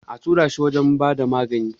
Ya tura shi wajen ba da magani.